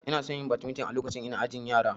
Inason yin wasan badminton a lokacin da ina ajin yara